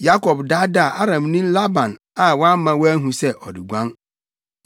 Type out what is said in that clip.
Yakob daadaa Aramni Laban a wamma wanhu sɛ ɔreguan.